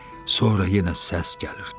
Sonra yenə səs gəlirdi.